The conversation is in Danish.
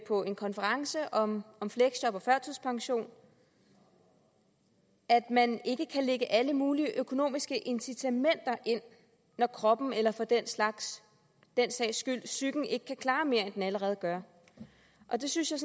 på en konference om om fleksjob og førtidspension at man ikke kan lægge alle mulige økonomiske incitamenter ind når kroppen eller for den sags skyld psyken ikke kan klare mere end den allerede gør det synes jeg